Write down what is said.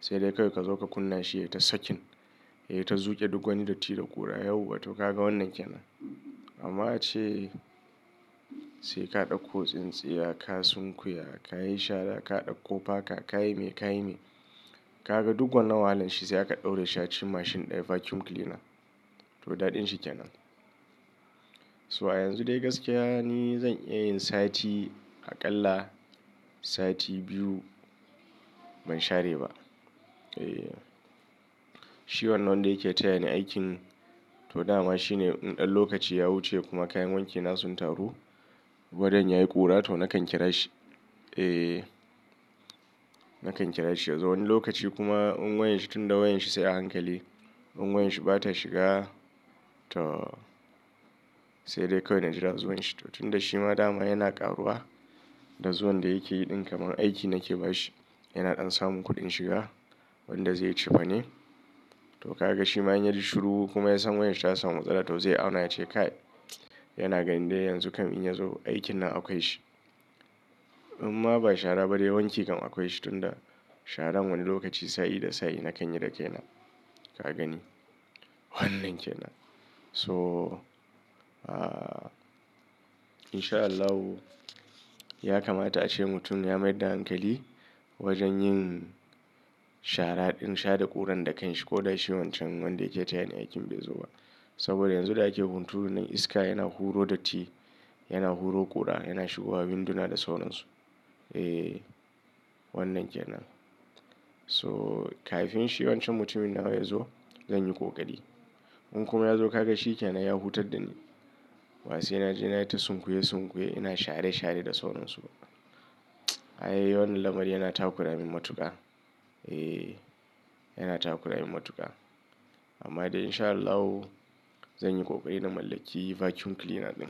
sai dai kawai ka zo ka kunna shi ya yi ta sakin. Ya yi ta zuƙe duk wani datti da ƙura. Yau wa to ka ga wannan ke nan. Amma ace sai ka ɗauko tsintsiya, ka sunkuya, ka yi shara, ka ɗauko paka, ka yi me, ka yi me. Ka ga duk wannan wahalan shi sai aka ɗaura shi a cikin mashin ɗaya vacuum cleaner. To daɗin shi ke nan. So a yanzu dai gaskiya ni zan iya yin sati aƙalla sati biyu ban share ba. Eh. Shi wannan wanda yake tayani aikin to dama shi ne in ɗan lokaci ya wuce kuma kayan wanki na sun taru. Wajan yayi ƙura to nakan kira shi. Eh nakan kira shi ya zo wani lokaci kuma in wayan shi tun da in wayan shi sai a hankali. In wayan shi bata shiga to sai dai kawai na jira zuwan shi. To tun da shi ma dama yana ƙaruwa da zuwan da yake yi ɗin kamar aiki nake ba shi. Yana ɗan samun kuɗin shiga wanda zai yi cefane. To ka ga shi ma in ya ji shuru kuma ya san wayan shi ya samun masala toh zai auna ya ce kai. Yana ganin dai yanzu kam in ya zo aikin nan akwai shi. In ma ba shara ba dai wanki kam akwai shi tun da sharan wani lokaci sa'i dai sa'i na kan yi da kai nan. Ka gani? Wannan ke nan. To ah insha Allahu ya kamata ace mutum ya mayar da hankali wajen yin shara ɗin share ƙuran da kan shi ko dai shi wancan wanda yake tayani aikin bai zo ba. Saboda yanzu da ake hunturunan iska yana huro datti, yana huro ƙura, yana shigowa winduna da sauran su. Eh wannan ke nan. So kafin shi wancan mutumin nawa ya zo zan yi ƙoƙari. In kuma ya zo ka ga shi ke nan ya hutar da ni. Basai naje na ta sunkuye sunkuye, ina share share da sauran su. Ai wannan lamari yana takura min matuƙa. Eh yana takura min matuƙa. Amma dai in sha Allah zan yi ƙoƙari na mallaki vacuum cleaner ɗin.